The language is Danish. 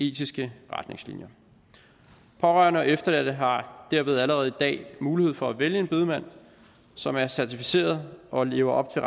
etiske retningslinjer pårørende og efterladte har derved allerede i dag mulighed for at vælge en bedemand som er certificeret og lever op til